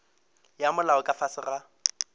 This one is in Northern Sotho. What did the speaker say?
ya molao ka fase ga